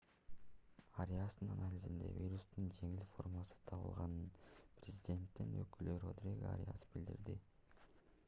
ариастын анализинде вирустун жеңил формасы табылганын президенттин өкүлү родриго ариас билдирди